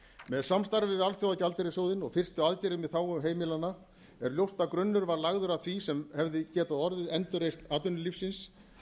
með samstarfi við alþjóðagjaldeyrissjóðinn og fyrstu aðgerðum í þágu heimilanna er ljóst að grunnurinn var lagður að því sem hefði geta orðið endurreisn atvinnulífsins